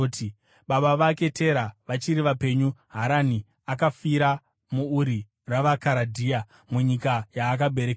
Baba vake Tera vachiri vapenyu Harani akafira muUri ravaKaradhea, munyika yaakaberekerwa,